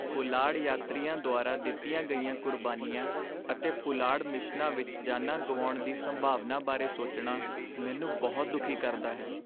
ਪੁਲਾੜ ਯਾਤਰੀਆਂ ਦੁਆਰਾ ਦਿੱਤੀਆਂ ਗਈਆਂ ਕੁਰਬਾਨੀਆਂ ਅਤੇ ਪੁਲਾੜ ਮਿਸ਼ਨਾਂ ਵਿੱਚ ਜਾਨਾਂ ਗੁਆਉਣ ਦੀ ਸੰਭਾਵਨਾ ਬਾਰੇ ਸੋਚਣਾ ਮੈਨੂੰ ਬਹੁਤ ਦੁਖੀ ਕਰਦਾ ਹੈ।